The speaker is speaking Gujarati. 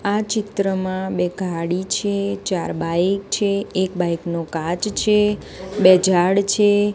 આ ચિત્રમાં બે ગાડી છે ચાર બાઇક છે એક બાઇક નો કાચ છે બે ઝાડ છે. આ ચિત્રમાં બે ગાડી છે ચાર બાઇક છે એક બાઇક નો કાચ છે બે ઝાડ છે.